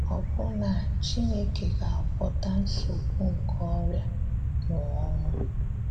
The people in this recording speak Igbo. Ọ́bụ̀na, Chinekè ga-agwọ́tà nsogbù nkè ọrịà na ọnwụ̀.